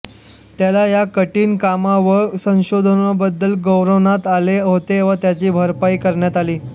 त्याला या कठिण कामा व संशोधनाबद्दल गौरवण्यात आले होते व त्याची भरपाई करण्यात आली